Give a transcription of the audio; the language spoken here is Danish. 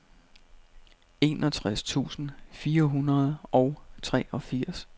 enogtres tusind fire hundrede og treogfirs